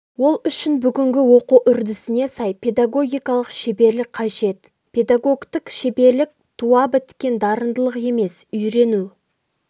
ол үшін бүгінгі оқу үрдісіне сай педагогикалық шеберлік қажет педагогтік шеберлік туа біткен дарындылық емес үйрену